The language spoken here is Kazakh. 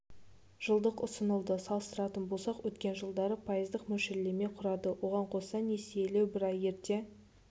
жылдық ұсынылды салыстыратын болсақ өткен жылдары пайыздық мөлшерлеме құрады оған қоса несиелеу бір ай ерте